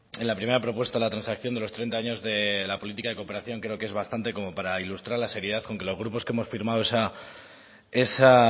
en la primera propuesta de la transacción de los treinta años de la política de cooperación creo que es bastante como para ilustrar la seriedad con que los grupos que hemos firmado esa